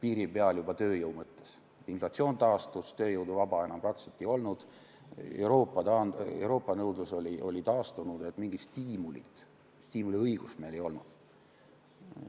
piiri peal juba tööjõu mõttes, inflatsioon taastus, vaba tööjõudu enam praktiliselt ei olnud, Euroopa nõudlus oli taastunud, mingit stiimuliõigust meil ei olnud.